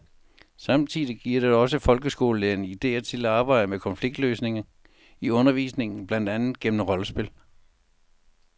Samtidig giver det også folkeskolelærerne idéer til at arbejde med konfliktløsning i undervisningen, blandt andet gennem rollespil.